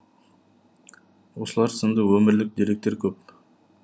осылар сынды өмірлік деректер көп